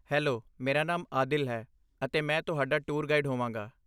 Hello, ਮੇਰਾ ਨਾਮ ਆਦਿਲ ਹੈ, ਅਤੇ ਮੈਂ ਤੁਹਾਡਾ ਟੂਰ ਗਾਈਡ ਹੋਵਾਂਗਾ।